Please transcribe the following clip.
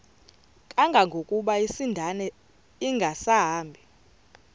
kangangokuba isindane ingasahambi